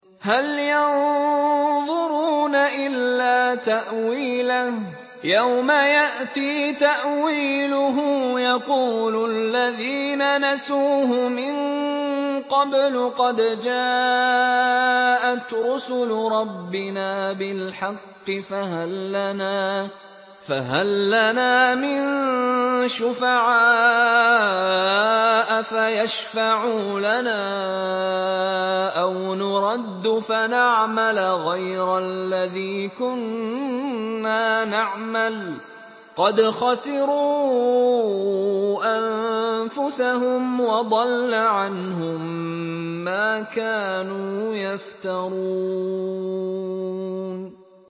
هَلْ يَنظُرُونَ إِلَّا تَأْوِيلَهُ ۚ يَوْمَ يَأْتِي تَأْوِيلُهُ يَقُولُ الَّذِينَ نَسُوهُ مِن قَبْلُ قَدْ جَاءَتْ رُسُلُ رَبِّنَا بِالْحَقِّ فَهَل لَّنَا مِن شُفَعَاءَ فَيَشْفَعُوا لَنَا أَوْ نُرَدُّ فَنَعْمَلَ غَيْرَ الَّذِي كُنَّا نَعْمَلُ ۚ قَدْ خَسِرُوا أَنفُسَهُمْ وَضَلَّ عَنْهُم مَّا كَانُوا يَفْتَرُونَ